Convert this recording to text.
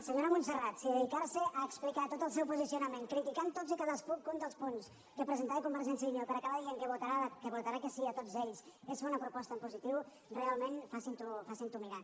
senyora montserrat si dedicar se a explicar tot el seu posicionament criticant tots i cadascun dels punts que presentava convergència i unió per acabar dient que votarà que sí a tots ells és fer una proposta en positiu realment facin s’ho mirar